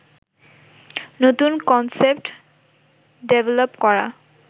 নতুন concept develop করা